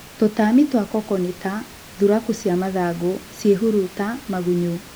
Tũtami twa koko nĩta Thuraku cia mathangũ, ciehurata, magunyũ.